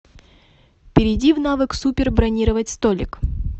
перейди в навык супер бронировать столик